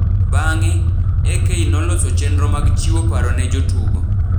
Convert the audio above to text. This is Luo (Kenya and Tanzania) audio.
Bang’e, AK noloso chenro mag chiwo paro ne jotugo,